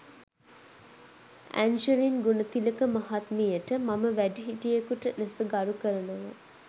Angeline Gunathilaka මහත්මියට මම වැඩිහිටියෙකුට ලෙස ගරු කරනවා.